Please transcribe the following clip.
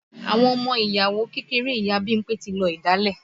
Àwọn ọmọ ìyàwó kékeré ìyá Bímpé tí lọ̀dálẹ̀